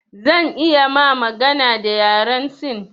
Zan iya ma magana da yaren sin